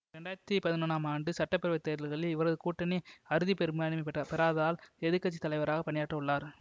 இரண்டு ஆயிரத்தி பதினொன்னாம் ஆண்டு சட்ட பேரவை தேர்தல்களில் இவரது கூட்டணி அறுதி பெரும்பான்மையை பெறாததால் எதிர் கட்சி தலைவராக பணியாற்ற உள்ளார்